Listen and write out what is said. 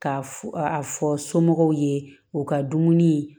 Ka f a fɔ somɔgɔw ye u ka dumuni